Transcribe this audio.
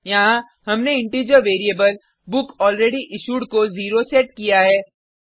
यहाँ हमने integer variable book already issued को 0 सेट किया है